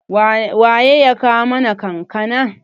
waye ya kawo mana kankana?